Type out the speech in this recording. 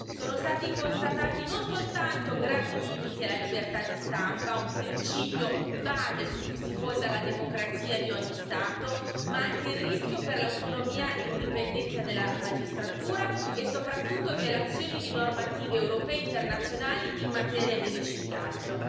Sono stati constatati non soltanto gravi limiti alla libertà di stampa, un principio base su cui si fonda la democrazia di ogni Stato, ma anche il rischio per l'autonomia e l'indipendenza della magistratura e, soprattutto, violazioni di normative europee e internazionali in materia di riciclaggio.